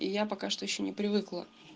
и я пока что ещё не привыкла